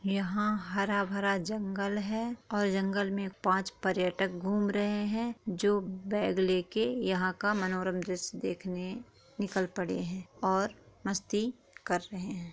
यहाँ हरा भरा जंगल हैऔर जंगल में पांच पर्यटक घूम रहे हैजो बैग लेके यहाँ का मनोरन्जस देखने निकल पड़े है और मस्ती कर रहे है ।